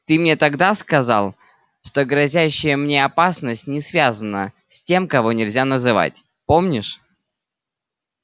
ты мне тогда сказал что грозящая мне опасность не связана с тем кого нельзя называть помнишь